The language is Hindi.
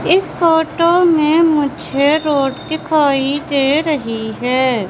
इस फोटो में मुझे रोड दिखाई दे रही है।